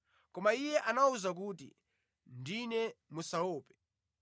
Koma Iye anawawuza kuti, “Ndine, musaope.”